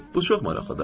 Bu çox maraqlıdır.